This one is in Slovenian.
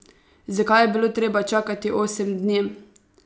Zakaj je bilo treba čakati osem dni?